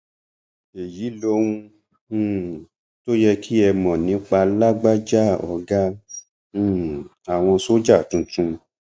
èyí lohun um tó yẹ kí ẹ mọ nípa lágbájá ọgá um àwọn sójà tuntun